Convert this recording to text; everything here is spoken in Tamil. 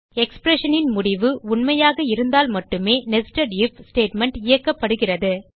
expressionன் முடிவு உண்மையாக இருந்தால் மட்டுமே netsed ஐஎஃப் ஸ்டேட்மெண்ட் இயக்கப்படுகிறது